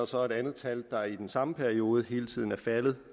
så et andet tal der i den samme periode hele tiden er faldet